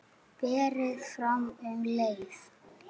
Berið fram um leið.